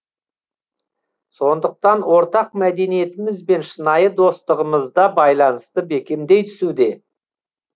сондықтан ортақ мәдениетіміз бен шынайы достығымыз да байланысты бекемдей түсуде